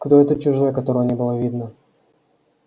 кто этот чужой а которого не было видно